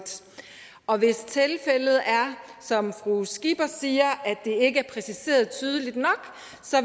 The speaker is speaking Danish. og hvis tilfældet er som fru pernille skipper siger at ikke er præciseret tydeligt nok